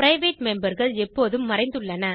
private memberகள் எப்போதும் மறைந்துள்ளன